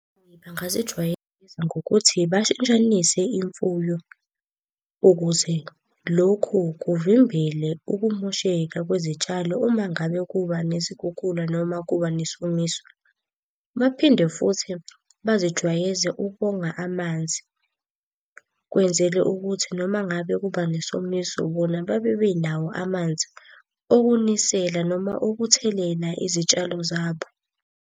Bangazijwayelisa ngokuthi bashintshanise imfuyo ukuze lokhu kuvimbele ukumosheka kwezitshalo uma ngabe kuba nezikhukhula noma kuba nesomiso. Baphinde futhi bazijwayeze ukonga amanzi. Kwenzele ukuthi noma ngabe kuba nesomiso bona babe benawo amanzi okunisela noma okuthelela izitshalo zabo.